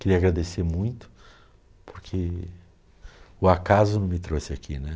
Queria agradecer muito, porque o acaso não me trouxe aqui, né?